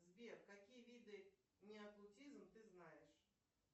сбер какие виды неотлутизм ты знаешь